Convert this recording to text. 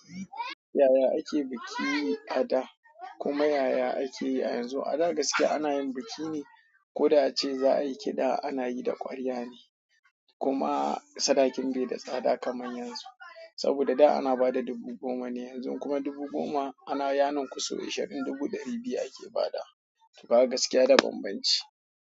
Yaya ake biki a da kuma yaya ake yi a yanzu? A da gaskiya ana yin biki ne, ko da a ce za a yi kiɗa ana yi da ƙwarya ne kuma sadakin bai da tsada kamar yanzu. Saboda da ana ba da dubu goma ne yanzu kuma dubu goma ana yanin kusurwar shaɗin dubu ɗari biyu ake ba da, kuma gaskiya da banbanci.